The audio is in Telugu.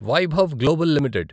Vaibhav global limited